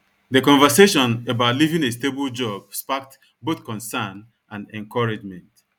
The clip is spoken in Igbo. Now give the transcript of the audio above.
The conversation about leaving a stable job sparked both concern and encouragement.